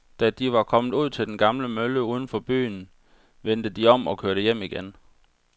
Da de var kommet ud til den gamle mølle uden for byen, vendte de om og kørte hjem igen.